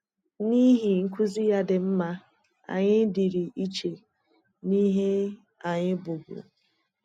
N’ihi nkuzi ya dị mma, anyị dịrị iche na ihe anyị bụbu.